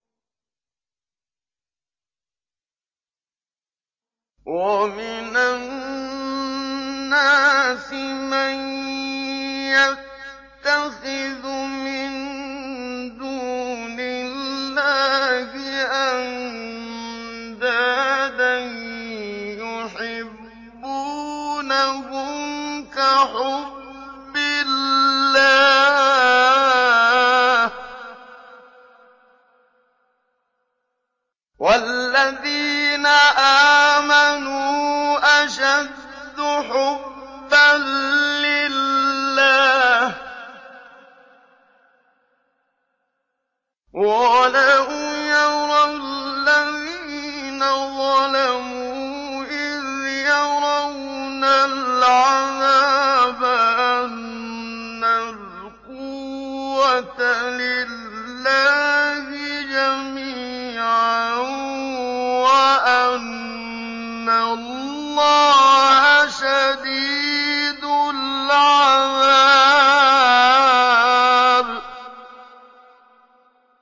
وَمِنَ النَّاسِ مَن يَتَّخِذُ مِن دُونِ اللَّهِ أَندَادًا يُحِبُّونَهُمْ كَحُبِّ اللَّهِ ۖ وَالَّذِينَ آمَنُوا أَشَدُّ حُبًّا لِّلَّهِ ۗ وَلَوْ يَرَى الَّذِينَ ظَلَمُوا إِذْ يَرَوْنَ الْعَذَابَ أَنَّ الْقُوَّةَ لِلَّهِ جَمِيعًا وَأَنَّ اللَّهَ شَدِيدُ الْعَذَابِ